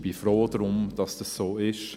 Ich bin froh darum, dass es so ist.